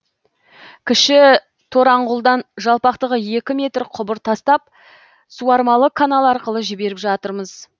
кіші тораңғұлдан жалпақтығы екі метр құбыр тастап суармалы канал арқылы жіберіп жатырмыз